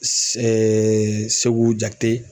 SEKU JAKITE.